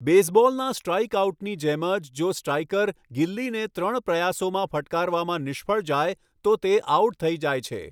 બેઝબૉલના સ્ટ્રાઇકઆઉટની જેમ જ જો સ્ટ્રાઇકર ગિલ્લીને ત્રણ પ્રયાસોમાં ફટકારવામાં નિષ્ફળ જાય તો તે આઉટ થઈ જાય છે.